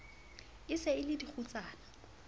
e se e le dikgutsana